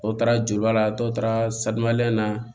Dɔ taara juru la dɔw taara na